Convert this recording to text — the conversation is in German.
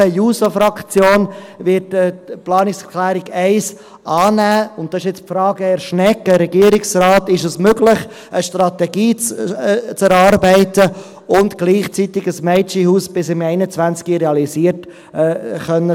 Die SP-JUSO-PSA-Fraktion wird die Planungserklärung 1 annehmen, und nun eine Frage an Herrn Regierungsrat Schnegg: Ist es möglich, eine Strategie zu erarbeiten und gleichzeitig bis 2021 ein Mädchenhaus realisieren zu können?